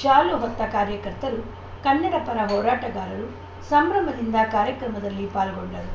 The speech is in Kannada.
ಶಾಲು ಹೊತ್ತ ಕಾರ್ಯಕರ್ತರು ಕನ್ನಡ ಪರ ಹೋರಾಟಗಾರರು ಸಂಭ್ರಮದಿಂದ ಕಾರ್ಯಕ್ರಮದಲ್ಲಿ ಪಾಲ್ಗೊಂಡರು